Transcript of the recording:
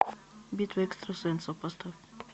битва экстрасенсов поставь